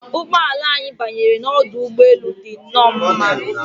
Ụgbọ ala anyị banyere n'ọdụ ụgbọ elu dị nnọọ mma